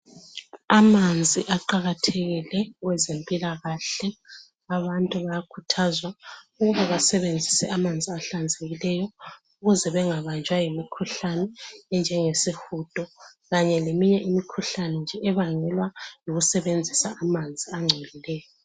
Amanzi aqakathekile kwezempilakahle. Abantu bayakhuthazwa ukuba basebenzise amanzi ahlanzekileyo, ukuze bengabanjwa yimikhuhlane, enjengesihudo. Kanye leminye imikhuhlane, nje ebangelwa yikusebenzisa amanzi angcolileyo.